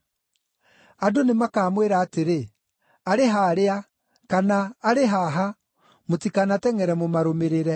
Andũ nĩmakamwĩra atĩrĩ, ‘Arĩ harĩa!’ kana ‘Arĩ haha!’ Mũtikanatengʼere mũmarũmĩrĩre.